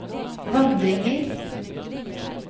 vandringer